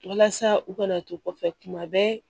Walasa u kana to kɔfɛ kuma bɛɛ